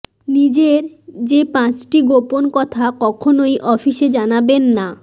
নিজের যে পাঁচটি গোপন কথা কখনওই অফিসে জানাবেন না